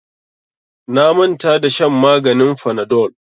Na manta da shan maganin fanadol.